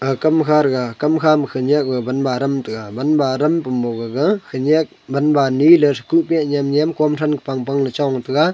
kamkha rega kamkha ma khenyak banba aram tega banba aram pump gaga khanyak banba ani lethekuh nyem nyem kom thran kabang bang chong taiga.